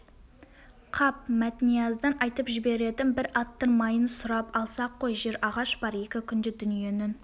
қап мәтнияздан айтып жіберетін бір аттың майын сұрап алсақ қой жер ағаш бар екі күнде дүниенің